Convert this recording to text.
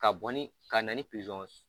Ka bɔ ni ka na ni pizɔn